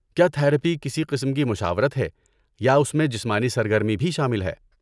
کیا تھراپی کسی قسم کی مشاورت ہے یا اس میں جسمانی سرگرمی بھی شامل ہے؟